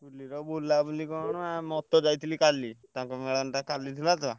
ହୋଲିରେ ବୁଲାବୁଲି କଣ ଆ ମୋରତ ଯାଇଥିଲି କାଲି। ତାଙ୍କ ମେଳଣଟା କାଲି ଥିଲା ତ।